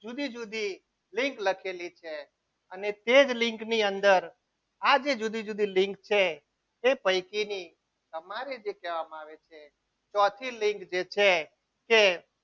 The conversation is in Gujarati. જુદી જુદી લીંક લખેલી છે અને તે જ નીક ની અંદર આજે જુદી જુદી લીંક છે તે પૈકીની તમારે જે કહેવામાં આવે છે ચોથી લિંક જે છે કે